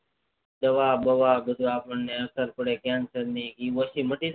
દવા બવા બધું અપણે અસર પડે કેન્સર ની એ ઓછી માટી જાય